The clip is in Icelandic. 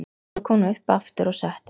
Svo kom hún upp aftur og settist.